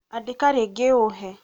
andĩka rĩngĩ ũhe